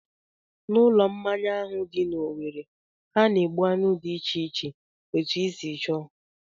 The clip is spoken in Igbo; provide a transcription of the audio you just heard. N'ulo mmanya ahụ dị n'Owere, ha na-egbu anụ dị iche iche etu I si chọọ